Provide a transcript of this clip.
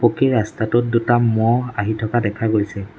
পকী ৰাস্তাটোত দুটা ম'হ আহি থকা দেখা গৈছে।